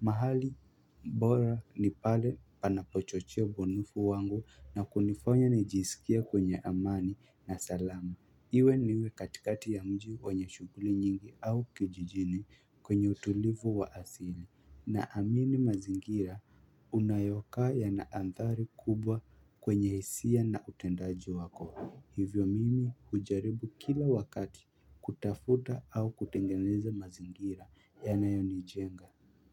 mahali bora nipale panapochochea ubunifu wangu na kuniaonya nijisikie kwenye amani na salama. Iwe niwe katikati ya mji wenye shughuli nyingi au kijijini kwenye utulivu wa asili. Na amini mazingira unayokaa na adhari kubwa kwenye hisia na utendaji wako. Hivyo mimi hujaribu kila wakati kutafuta au kutengeneza mazingira ya nayo ni jenga.